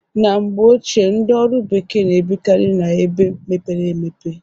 Na mgbe ochie ndị ọrụ bekee na-ebikarị na ebe mepere emepe.